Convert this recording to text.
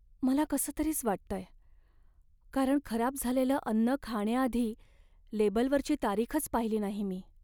मला कसंतरीच वाटतंय, कारण खराब झालेलं अन्न खाण्याआधी लेबलवरची तारीखच पाहिली नाही मी.